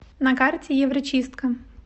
на карте еврочистка